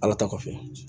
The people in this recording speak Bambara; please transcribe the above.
Ala ta kɔfɛ